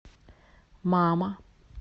мама